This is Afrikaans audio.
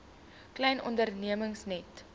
klein ondernemings net